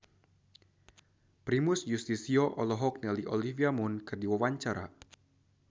Primus Yustisio olohok ningali Olivia Munn keur diwawancara